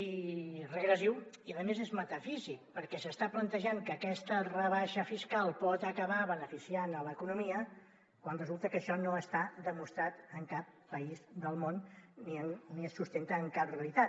és regressiu i a més és metafísic perquè s’està plantejant que aquesta rebaixa fiscal pot acabar beneficiant l’economia quan resulta que això no està demostrat en cap país del món ni es sustenta en cap realitat